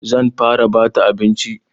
Zan fara bata abinci.